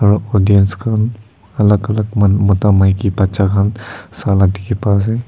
aro dance khan alak alak manu mota maki bacha khan sala dikhipa ase.